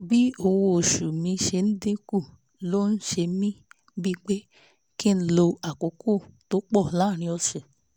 bí owó oṣù mi ṣe ń dín kù ló ń ṣe mí bíi pé kí n lo àkókò tó pọ̀ láàárín ọ̀sẹ̀